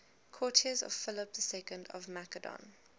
courtiers of philip ii of macedon